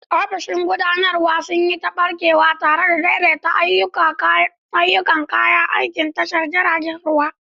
Ofisoshin gudanarwa sun yi ta ɓarkewa tare da daidaita ayyukan kayan aikin tashar jiragen ruwa.